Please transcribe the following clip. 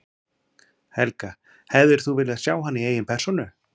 Helga: Hefðir þú viljað sjá hana í eigin persónu?